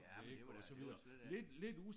Ja men det var da også lidt øh